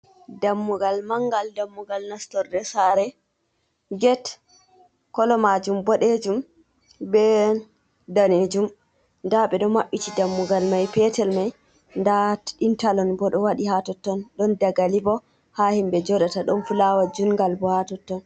Ɗammugal mangal. Ɗanmmugal nastorɗe sare. get kolo majum boɗejum be ɗanejum. Ɗabe ɗo mabbiti ɗammugal mai petel mai. Ɗa intalon bo ɗo waɗi ha totton. Ɗon ɗagali bo ha himbe joɗata. Ɗon fulawa jungal bo ha totton.